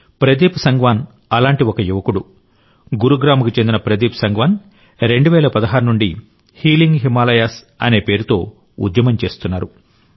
ప్రదీప్ సంగ్వాన్ అలాంటి ఒక యువకుడు గురుగ్రామ్కు చెందిన ప్రదీప్ సంగ్వాన్ 2016 నుండి హీలింగ్ హిమాలయాస్ అనే పేరుతో ఉద్యమం చేస్తున్నారు